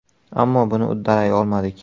Ammo buni uddalay olmadik.